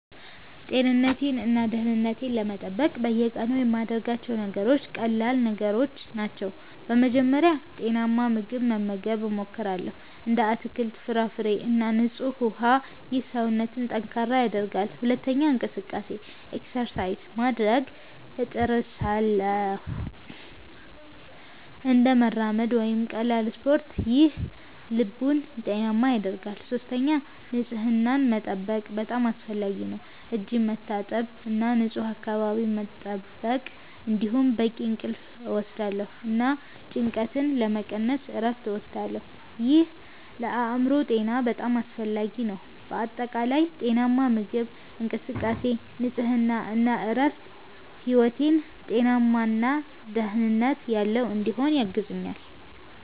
ጤንነቴን እና ደህንነቴን ለመጠበቅ በየቀኑ የምያደርጋቸው ነገሮች ቀላል ነገሮች ናቸው። በመጀመሪያ ጤናማ ምግብ መመገብ እሞክራለሁ፣ እንደ አትክልት፣ ፍራፍሬ እና ንጹህ ውሃ። ይህ ሰውነትን ጠንካራ ያደርጋል። ሁለተኛ እንቅስቃሴ (exercise) ማድረግ እጥርሳለሁ፣ እንደ መራመድ ወይም ቀላል ስፖርት። ይህ ልብን ጤናማ ያደርጋል። ሶስተኛ ንጽህናን መጠበቅ በጣም አስፈላጊ ነው፣ እጅ መታጠብ እና ንፁህ አካባቢ መጠበቅ። እንዲሁም በቂ እንቅልፍ እወስዳለሁ እና ጭንቀትን ለመቀነስ እረፍት እወስዳለሁ። ይህ ለአእምሮ ጤና በጣም አስፈላጊ ነው። በአጠቃላይ ጤናማ ምግብ፣ እንቅስቃሴ፣ ንጽህና እና እረፍት ሕይወቴን ጤናማ እና ደህንነት ያለው እንዲሆን ያግዙኛል